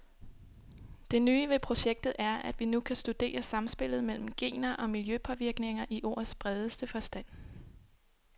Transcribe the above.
Det nye ved projektet er, at vi nu kan studere samspillet mellem gener og miljøpåvirkninger i ordets bredeste forstand.